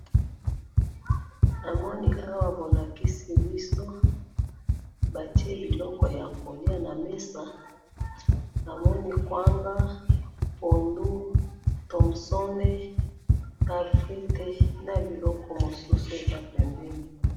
na moni awa bo lakisi biso, ba tie biloko yako lia na mesaa na moni kwanga, pondu, tomson, na frites na biloko mosusu eza pembeni